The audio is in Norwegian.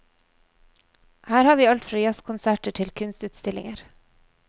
Her har vi alt fra jazzkonserter til kunstutstillinger.